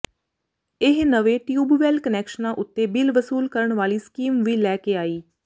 ਇਹ ਨਵੇਂ ਟਿਊਬਵੈਲ ਕੁਨੈਕਸ਼ਨਾਂ ਉੱਤੇ ਬਿਲ ਵਸੂਲ ਕਰਨ ਵਾਲੀ ਸਕੀਮ ਵੀ ਲੈ ਕੇ ਆਈ